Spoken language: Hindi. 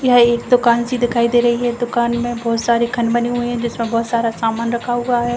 यह एक दुकान सी दिखाई दे रही है। दुकान में बहुत सारे खन बने हुए हैं जिसमें बहुत सारा सामान रखा हुआ है।